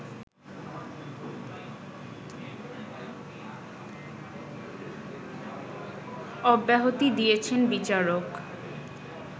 অব্যাহতি দিয়েছেন বিচারক